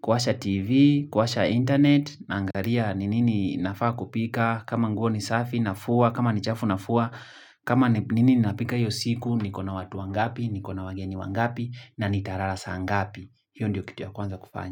kuwasha TV, kuwasha internet, naangalia ni nini nafaa kupika, kama nguo ni safi nafua, kama nichafu nafua, kama ni nini napika hiyo siku, niko na watu wangapi, niko na wageni wangapi, na nitalala saa ngapi. Hiyo ndio kitu ya kwanza kufanya.